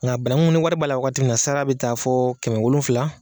Nka banangun ni wari b'a la wakati min na a sara bɛ taa fɔ kɛmɛ wolonfila.